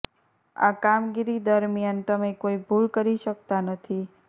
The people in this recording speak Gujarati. આ કામગીરી દરમિયાન તમે કોઈ ભૂલ કરી શકતા નથી